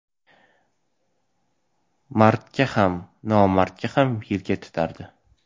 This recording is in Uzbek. Mardga ham, nomardga ham yelka tutardi.